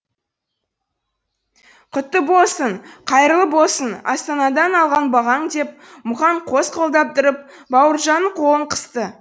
құтты болсын қайырлы болсын астанадан алған бағаң деп мұхаң қос қолдап тұрып бауыржанның қолын қысты